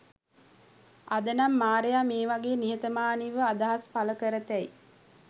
අද නම් මාරයා මේ වගේ නිහතමානීව අදහස් පළ කරතැයි